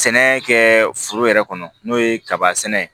Sɛnɛ kɛ foro yɛrɛ kɔnɔ n'o ye kaba sɛnɛ